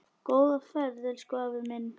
Góða ferð, elsku afi minn.